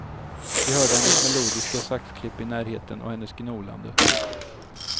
Vi hörde hennes melodiska saxklipp i närheten och hennes gnolande.